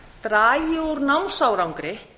dragi úr námsárangri